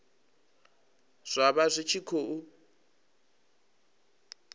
zwa vha zwi tshi khou